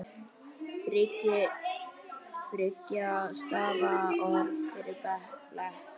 Þriggja stafa orð fyrir blek?